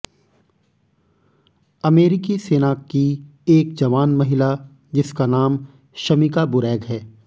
अमेरिकी सेना की एक जवान महिला जिसका नाम शमिका बुरैग है